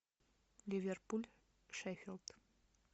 ливерпуль шеффилд